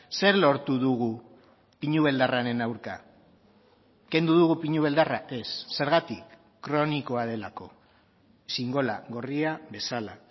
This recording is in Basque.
zer lortu dugu pinu beldarraren aurka kendu dugu pinu beldarra ez zergatik kronikoa delako xingola gorria bezala